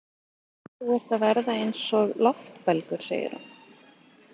Þú ert að verða eins og loftbelgur, segir hún.